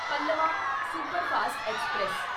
Pallavan superfast express